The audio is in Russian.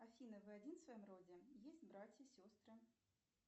афина вы один в своем роде есть братья сестры